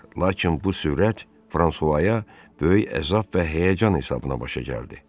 Lakin bu sürət Fransuaya böyük əzab və həyəcan hesabına başa gəldi.